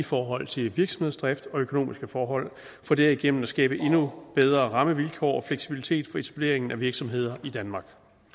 i forhold til virksomhedsdrift og økonomiske forhold for derigennem at skabe endnu bedre rammevilkår og fleksibilitet for etablering af virksomheder i danmark